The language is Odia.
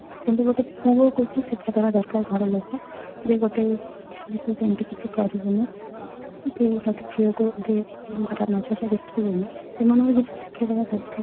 ସେମିତି ଗୋଟେ ପୁଅ କୁ ବି ଶିକ୍ଷା ଦେବା ଦରକାର ଘର ଲୋକ ଯେ ଗୋଟେ ଝିଅ ସହିତ ଏମିତି କିଛି କରିବୁନି କି ଗୋଟେ ଝିଅ କୁ ଏମିତି ଖରାପ ନଜର ରେ ଦେଖିବୁନି ସେମାନେ ଙ୍କୁ ବି କିଛି ଶିକ୍ଷା ଦେବା ଦରକାର